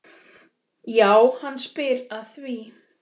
Já, hann spyr að því?